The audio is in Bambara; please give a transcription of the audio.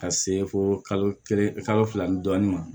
Ka se fo kalo kelen kalo fila ni dɔɔnin ma